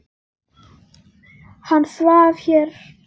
Hann svaf hér.